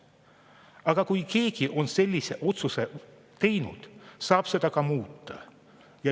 Aga kui keegi on sellise otsuse teinud, saab seda ka muuta.